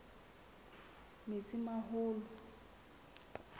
metsimaholo